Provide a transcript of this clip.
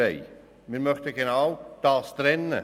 Genau dies möchten wir trennen.